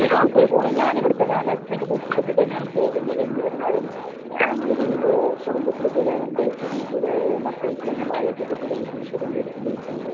ഞാൻ ഇവിടുത്തെ തൊട്ടിട്ട് തന്നെയാണ് പോകുന്നത്. എന്നിരുന്നാലും നിലവിൽ കുടുംബത്തിൽ ചില മക്കൾക്കും ഭാര്യക്കും ഒക്കെ കൂടെ ബുദ്ധിമുട്ട് അനുഭവിക്കുന്നുണ്ട്.